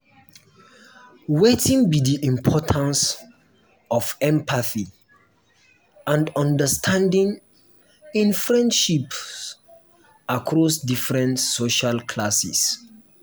wetin be di importance of empathy and understanding in friendships across different social classes?